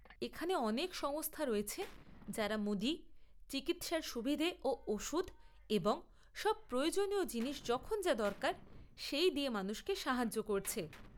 এখানে অনেক সংস্থা রয়েছে যারা মুদি, চিকিৎসার সুবিধে ও ওষুধ এবং সব প্রয়োজনীয় জিনিস যখন যা দরকার, সেই দিয়ে মানুষকে সাহায্য করছে।